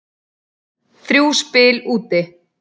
Þrjú spil úti.